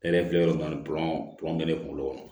Ne yɛrɛ filɛ yɔrɔ min pɔrɔn pɛrɛnkelen kunkolo kɔnɔ